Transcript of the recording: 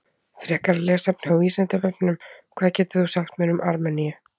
Frekara lesefni á Vísindavefnum: Hvað getur þú sagt mér um Armeníu?